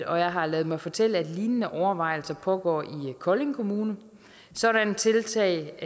og jeg har ladet mig fortælle at lignende overvejelser pågår i kolding kommune sådanne tiltag